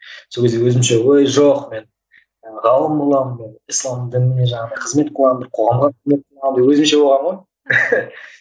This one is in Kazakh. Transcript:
сол кезде өзімше ой жоқ мен ы ғалым боламын мен ислам дініне жаңағындай қызмет қыламын деп қоғамға қызмет қыламын деп өзімше болғанмын ғой